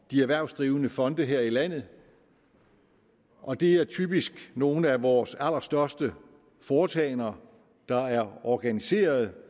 de erhvervsdrivende fonde her i landet og det er typisk nogle af vores allerstørste foretagender der er organiseret